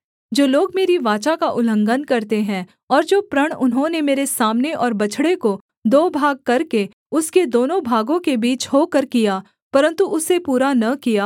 जो लोग मेरी वाचा का उल्लंघन करते हैं और जो प्रण उन्होंने मेरे सामने और बछड़े को दो भाग करके उसके दोनों भागों के बीच होकर किया परन्तु उसे पूरा न किया